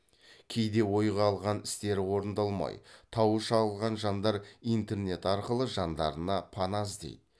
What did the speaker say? кейде ойға алған істері орындалмай тауы шағылған жандар интернет арқылы жандарына пана іздейді